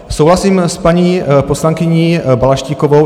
Souhlasím s paní poslankyní Balaštíkovou.